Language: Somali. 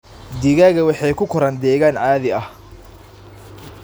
Digaagga waxay ku koraan deegaan caadi ah.